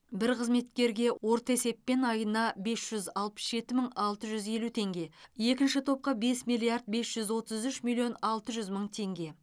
бір қызметкерге орта есеппен айына бес жүз алпыс жеті мың алты жүз елу теңге екінші топқа бес миллиард бес жүз отыз үш миллион алты жүз мың теңге